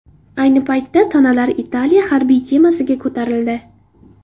Ayni paytda tanalar Italiya harbiy kemasiga ko‘tarildi.